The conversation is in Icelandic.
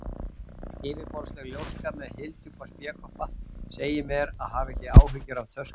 Yfirborðsleg ljóska með hyldjúpa spékoppa segir mér að hafa ekki áhyggjur af töskunum.